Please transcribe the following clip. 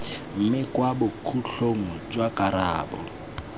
mme kwa bokhutlong jwa karabo